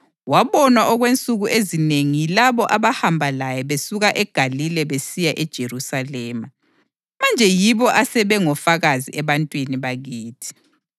Wabonwa okwensuku ezinengi yilabo abahamba laye besuka eGalile besiya eJerusalema. Manje yibo asebe ngofakazi ebantwini bakithi.